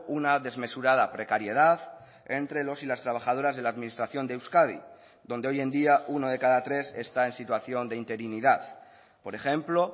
una desmesurada precariedad entre los y las trabajadoras de la administración de euskadi donde hoy en día uno de cada tres está en situación de interinidad por ejemplo